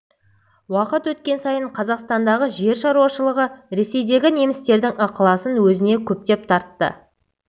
уақыт өткен сайын қазақстандағы жер шаруашылығы ресейдегі немістердің ықыласын өзіне көптеп тартты